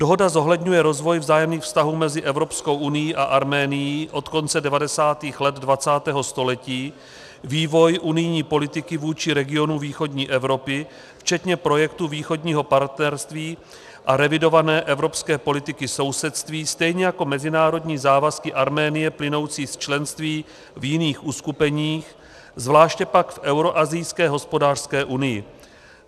Dohoda zohledňuje rozvoj vzájemných vztahů mezi Evropskou unií a Arménií od konce 90. let 20. století, vývoj unijní politiky vůči regionu východní Evropy včetně projektu Východního partnerství a revidované evropské politiky sousedství, stejně jako mezinárodní závazky Arménie plynoucí z členství v jiných uskupeních, zvláště pak v Euroasijské hospodářské unii.